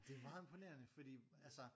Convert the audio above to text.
Det er meget imponerende fordi altså